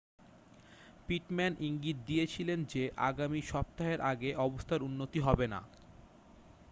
Pitman ইঙ্গিত দিয়েছিলেন যে আগামী সপ্তাহের আগে অবস্থার উন্নতি হবে না